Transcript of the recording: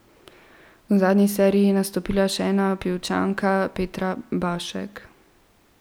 V zadnji seriji je nastopila še ena Pivčanka, Petra Bašek.